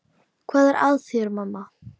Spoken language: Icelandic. Hvað er að þér, mamma?